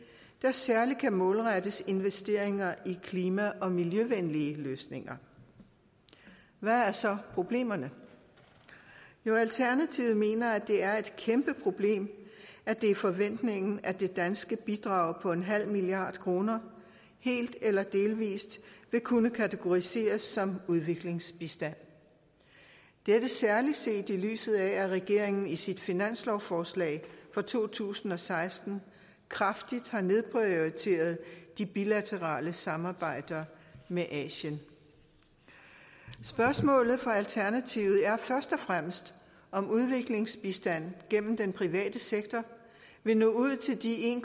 særlig kan målrettes investeringer i klima og miljøvenlige løsninger hvad er så problemerne jo alternativet mener det er et kæmpe problem at det er forventningen at det danske bidrag på en halv milliard kroner helt eller delvis vil kunne kategoriseres som udviklingsbistand dette særlig set i lyset af at regeringen i sit finanslovsforslag for to tusind og seksten kraftigt har nedprioriteret de bilaterale samarbejder med asien spørgsmålet for alternativet er først og fremmest om udviklingsbistand gennem den private sektor vil nå ud til de en